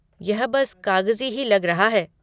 यह बस कागज़ी ही लग रहा है।